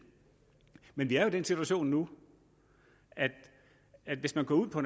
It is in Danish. men vi er den situation nu at hvis man tager ud på